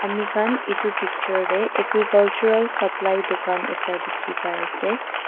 ami khan edu picture tae agricultural supply dukan ekta dikhipaiase.